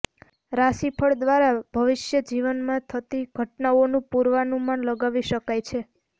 રાશિફળ દ્વારા ભવિષ્ય જીવનમાં થતી ઘટનાઓનું પૂર્વાનુમાન લગાવી શકાય છે